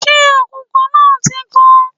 Ṣé àkùkọ náà ti kọ?